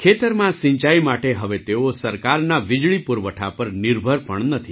ખેતરમાં સિંચાઈ માટે હવે તેઓ સરકારના વીજળી પૂરવઠા પર નિર્ભર પણ નથી